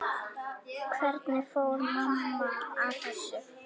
Hvernig fór mamma að þessu?